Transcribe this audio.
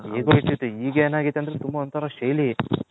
ಏಗೋ ಇರ್ತಿತು ಈಗ ಎನ್ ಅಗ್ಯತೆ ಅಂದ್ರೆ ತುಂಬಾ ಒಂತರ ಶೈಲಿ.